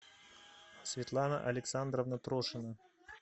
светлана александровна трошина